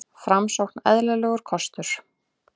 Framsókn eðlilegur kostur